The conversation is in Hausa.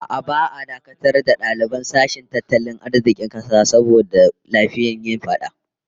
A'a, ba'a dakatar da daliban sashen tattalin arzikin kasa ba saboda laifin yin fada